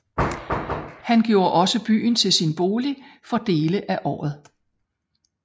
Han gjorde også byen til sin bolig for dele af året